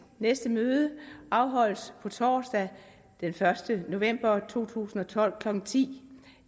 næste møde afholdes på torsdag den første november to tusind og tolv klokken ti